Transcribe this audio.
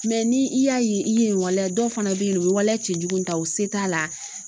ni i y'a ye i ye waleya dɔ fana bɛ yen u bɛ waleya cɛjugu ta u se t'a la